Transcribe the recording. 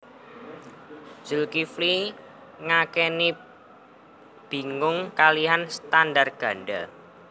Zulkifli ngakeni bingung kaliyan standar ganda